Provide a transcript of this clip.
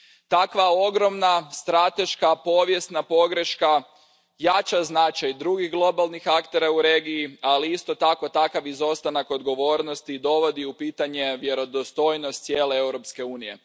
Takva ogromna strateška povijesna pogreška jača značaj drugih globalnih aktera u regiji, ali isto tako, takav izostanak odgovornosti dovodi u pitanje vjerodostojnost cijele Europske unije.